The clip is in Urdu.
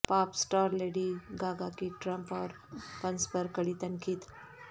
پاپ اسٹار لیڈی گاگا کی ٹرمپ اور پنس پر کڑی تنقید